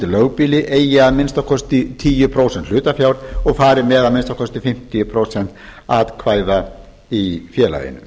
lögbýli eigi að minnsta kosti tíu prósent hlutafjár og fari með að minnsta kosti fimmtíu prósent atkvæða í félaginu